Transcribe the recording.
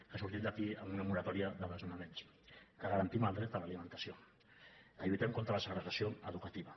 que sortim d’aquí amb una moratòria de desnonaments que garantim el dret a l’alimentació que lluitem contra la segregació educativa